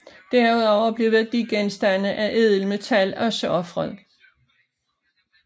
Derudover blev værdigenstande af ædelt metal også ofret